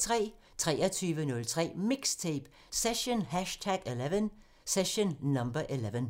23:03: MIXTAPE – Session #11